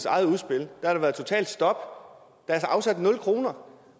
eget udspil har været et totalt stop der er afsat nul kroner